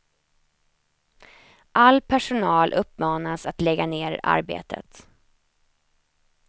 All personal uppmanas att lägga ner arbetet.